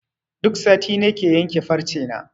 Duk sati nake yanke farce na.